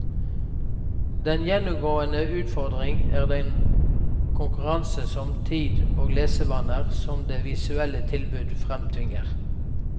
Den gjennomgående utfordring er den konkurranse om tid og lesevaner som det visuelle tilbudet fremtvinger.